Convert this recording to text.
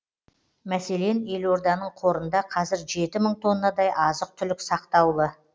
мәселен елорданың қорында қазір жеті мың тоннадай азық түлік сақтаулы